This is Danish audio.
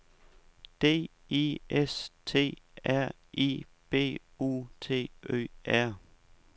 D I S T R I B U T Ø R